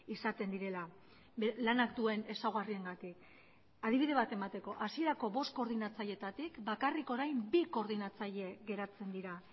izaten direla lanak duen ezaugarriengatik adibide bat emateko hasierako bost koordinatzaileetatik bakarrik orain bi koordinatzaile geratzen dira